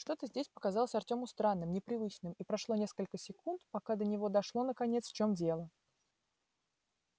что-то здесь показалось артёму странным непривычным и прошло несколько секунд пока до него дошло наконец в чём дело